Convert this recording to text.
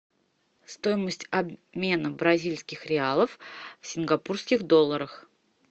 стоимость обмена бразильских реалов в сингапурских долларах